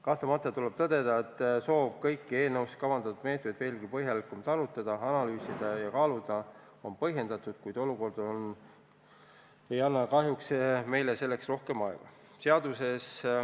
Kahtlemata tuleb tõdeda, et soov kõiki eelnõus kavandatud meetmeid veelgi põhjalikumalt arutada, analüüsida ja kaaluda on põhjendatud, kuid olukord ei anna kahjuks meile selleks rohkem aega.